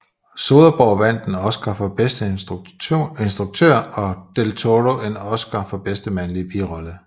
Soderborgh vandt en Oscar for bedste instruktør og del Toro en Oscar for bedste mandlige birolle